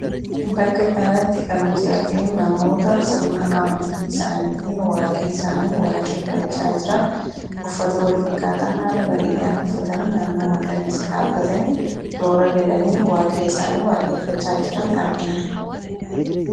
bakka kanatti kan nuti arginu namoota sirna amantii isaaniitiin Waaqa isaanii waaqeeffachaa jiran uffata walfakkaataa haala bareedaan uffatanii naannoo magariisa dhaabbatanii toora galanii Waaqa isaanii waaqeeffachaa jiran argina.